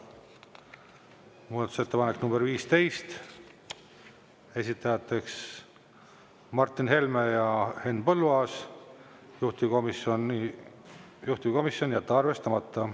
Muudatusettepanek nr 15, esitajateks Martin Helme ja Henn Põlluaas, juhtivkomisjon: jätta arvestamata.